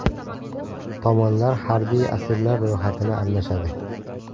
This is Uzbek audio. Tomonlar harbiy asirlar ro‘yxatini almashadi.